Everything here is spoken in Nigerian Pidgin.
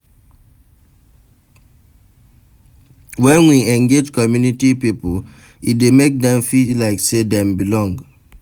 When we engage community pipo e dey make dem feel like sey dem belong